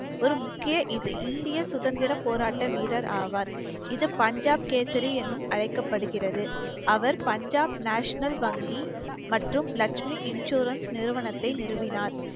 ஒரு முக்கிய இது~ இந்திய சுதந்திர போராட்ட வீரர் ஆவார் இது பஞ்சாப் கேசரி என்னும் அழைக்கப்படுகிறது அவர் பஞ்சாப் national வங்கி மற்றும் லக்ஷ்மி insurance நிறுவனத்தை நிறுவினார்